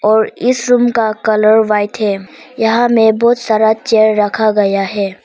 और इस रूम का कलर व्हाइट है यहां में बहोत सारा चेयर रखा गया है।